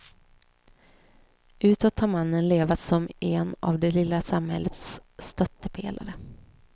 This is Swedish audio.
Utåt har mannen levat som en av det lilla samhällets stöttepelare.